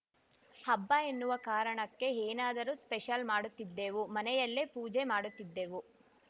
ಹಬ್ಬ ಎನ್ನುವ ಕಾರಣಕ್ಕೆ ಏನಾದರೂ ಸ್ಪೆಷಲ್‌ ಮಾಡುತ್ತಿದ್ದೆವು ಮನೆಯಲ್ಲೇ ಪೂಜೆ ಮಾಡುತ್ತಿದ್ದೆವು